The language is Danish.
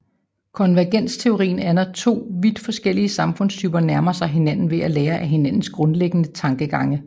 Konvergensteorien er når to vidt forskellige samfundstyper nærmer sig hinanden ved at lære af hinandens grundlæggende tankegange